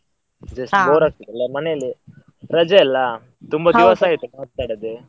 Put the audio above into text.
Bore ಆಗ್ತದಲ್ಲ ಮನೇಲೇ, ರಜೆ ಅಲ್ಲ ದಿವಸ ಆಯ್ತ್ ಮಾತಾಡದೆ.